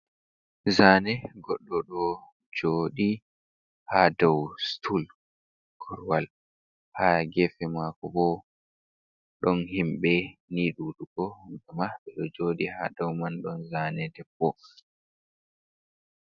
Zaane goɗɗo ɗo jooɗi ha dow stul (korowal). Haa gefe maako bo, ɗon himɓe nii ɗuɗugo hamɓe ma ɓe ɗo jooɗi. Ha dow man ɗon zaane debbo.